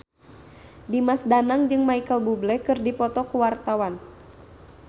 Dimas Danang jeung Micheal Bubble keur dipoto ku wartawan